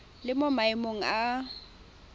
le mo maemong a a